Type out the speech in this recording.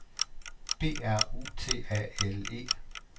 B R U T A L E